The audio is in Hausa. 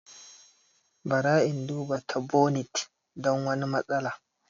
Bara in duba ta bonit don wani matsala.